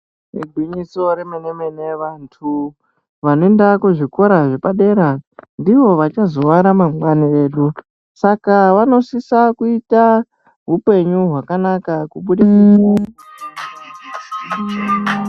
Igwinyiso remene mene vantu vanoenda kuzvikora zvepadera ndiva vachazova ramangwani redu saka vanosisa kuita hupenyu zvakanaka kubudikidza.